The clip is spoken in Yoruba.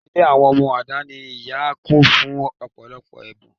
Ilé àwọn ọmọ aláìní ìyá kún fún ọ̀pọ̀lọpọ̀ ẹ̀bùn